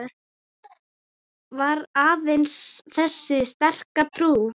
Var aðeins þessi sterka trú